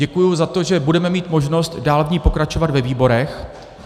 Děkuju za to, že budeme mít možnost dál v ní pokračovat ve výborech.